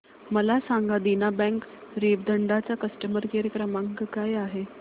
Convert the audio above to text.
मला सांगा देना बँक रेवदंडा चा कस्टमर केअर क्रमांक काय आहे